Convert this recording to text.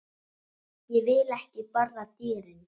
Ég vil ekki borða dýrin.